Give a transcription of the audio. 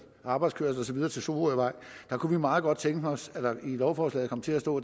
arbejdskørsel videre til sorøvej der kunne vi meget godt tænke os at der lovforslaget kom til at stå